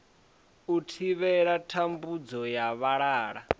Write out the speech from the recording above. u thivhela thambudzo ya vhalala